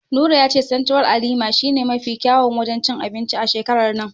Nura ya ce Sentiral a Lima shi ne mafi kyawun wajen cin anbinci a shekarar nan.